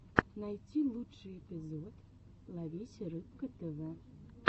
найти лучший эпизод ловись рыбка тв